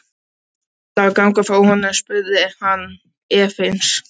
Ætlarðu að ganga frá honum? spurði hann efins.